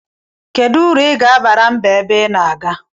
Kedu uru iga abara mba ebe ina aga?